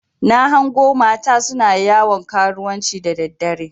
Na hango mata suna yawon karuwanci da daddare.